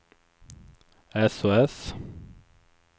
sos